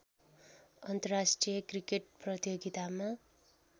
अन्तर्राष्ट्रिय क्रिकेट प्रतियोगितामा